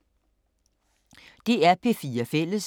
DR P4 Fælles